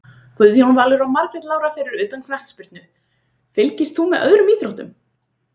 Guðjón Valur og Margrét Lára Fyrir utan knattspyrnu, fylgist þú með öðrum íþróttum?